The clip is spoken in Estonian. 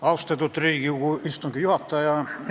Austatud Riigikogu istungi juhataja!